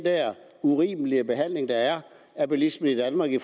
urimelige behandling der er af bilisterne i danmark i